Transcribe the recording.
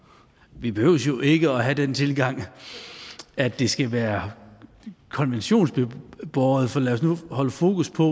vi behøver jo ikke have den tilgang at det skal være konventionsbåret for lad os nu holde fokus på